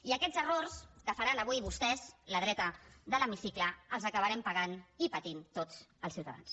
i aquests errors que faran avui vostès la dreta de l’hemicicle els acabarem pagant i patint tots els ciutadans